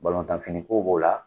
Balontanfini ko b'o la.